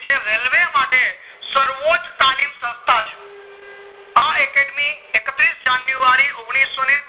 છે railway માટે સર્વોચ તાલીમ સંસ્થા છે આ academy એકત્રીસ જનુંઅર્ય ને ઓગણીસો ને છે